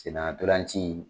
Sena tolancii.